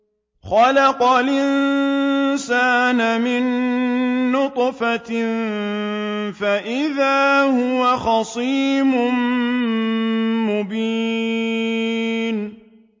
خَلَقَ الْإِنسَانَ مِن نُّطْفَةٍ فَإِذَا هُوَ خَصِيمٌ مُّبِينٌ